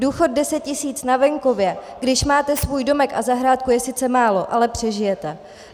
Důchod 10 tisíc na venkově, když máte svůj domek a zahrádku, je sice málo, ale přežijete.